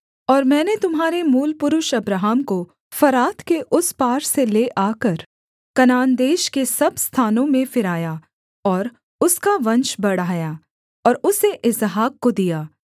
और मैंने तुम्हारे मूलपुरुष अब्राहम को फरात के उस पार से ले आकर कनान देश के सब स्थानों में फिराया और उसका वंश बढ़ाया और उसे इसहाक को दिया